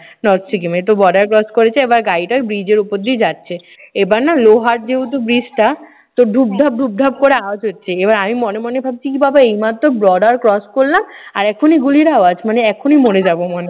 north সিকিমে। তো border cross করেছে। এইবার গাড়িটা bridge এর উপর দিয়ে যাচ্ছে। এইবার না লোহার যে উঁচু bridge টা তো ধূপ ধাপ ধূপ ধাপ করে আওয়াজ হচ্ছে। এইবার আমি মনে মনে ভাবছি কি বাবা এই মাত্র border cross করলাম, আর এখুনি গুলির আওয়াজ মানে এখুনি মরে যাবো মনে হচ্ছে।